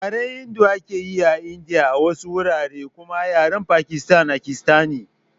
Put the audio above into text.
Yaren Hindu ake yi a Indiya a wasu wurare kuma Yaren Pakistan akistani